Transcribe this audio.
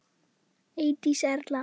Eydís Erla.